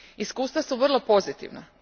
Iskustva su vrlo pozitivna.